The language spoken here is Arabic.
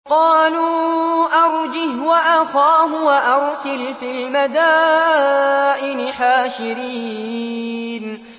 قَالُوا أَرْجِهْ وَأَخَاهُ وَأَرْسِلْ فِي الْمَدَائِنِ حَاشِرِينَ